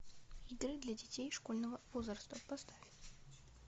игры для детей школьного возраста поставь